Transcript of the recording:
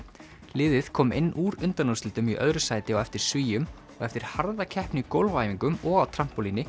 liðið kom inn úr undanúrslitum í öðru sæti á eftir Svíum og eftir harða keppni í gólfæfingum og á